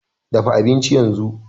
Dafa abincin yanzu!